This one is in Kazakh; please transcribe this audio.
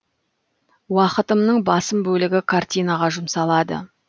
уақытымның басым бөлігі картинаға жұмсалады